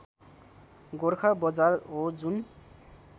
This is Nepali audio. गोरखा बजार हो जुन